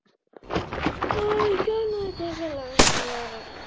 Þá er ekki annað til ráða en snúa sér til lögreglunnar.